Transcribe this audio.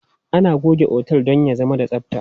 Ana goge otel don ya zama da tsabta.